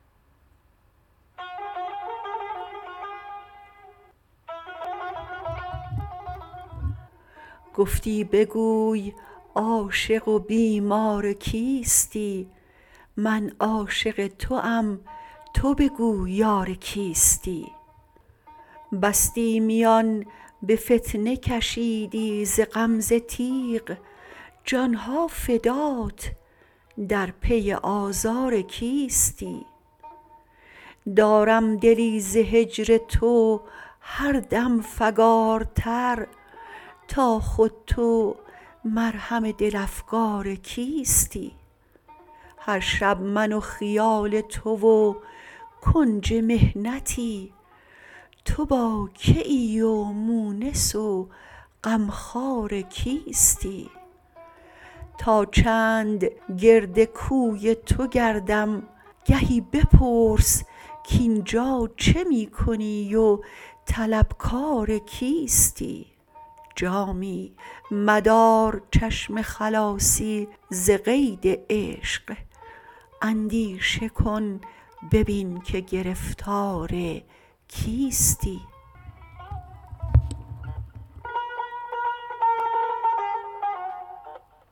گفتی بگوی عاشق و بیمار کیستی من عاشق توام تو بگو یار کیستی بستی میان به فتنه کشیدی ز غمزه تیغ جانم فدات در پی آزار کیستی دارم دلی ز هجر تو هر دم فگارتر تا خود تو مرهم دل افگار کیستی هر شب من و خیال تو و کنج محنتی تو با که ای و مونس و غمخوار کیستی تا چند گرد کوی تو گردم گهی بپرس کاین جا چه می کنی و طلبکار کیستی جامی مدار چشم خلاصی ز قید عشق اندیشه کن ببین که گرفتار کیستی